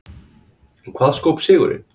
En hvað skóp sigurinn?